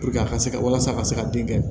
a ka se ka walasa a ka se ka den kɛ